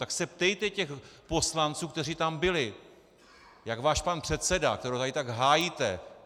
Tak se ptejte těch poslanců, kteří tam byli, jak váš pan předseda, kterého tady tak hájíte!